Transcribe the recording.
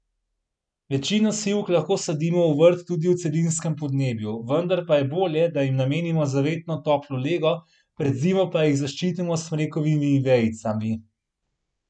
Večino sivk lahko sadimo v vrt tudi v celinskem podnebju, vendar pa je bolje, da jim namenimo zavetno toplo lego, pred zimo pa jih zaščitimo s smrekovimi vejicami.